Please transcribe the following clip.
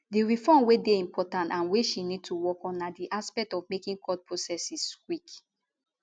di reform wey dey important and wey she need to work on na di aspect of making court processes quick